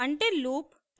until loop